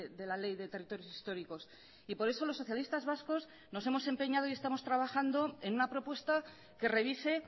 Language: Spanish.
de la ley de territorios históricos y por eso los socialistas vascos nos hemos empeñado y estamos trabajando en una propuesta que revise